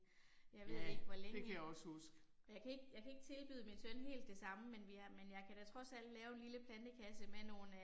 Jeg ved ikke hvor længe. Jeg kan ikke jeg kan ikke tilbyde min søn helt det samme, men vi har men jeg kan da trods alt lave en lille plantekasse med nogle øh